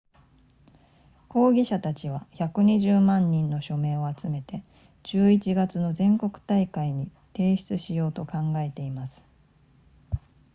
抗議者たちは120万人の署名を集めて11月の全国大会に提出しようと考えています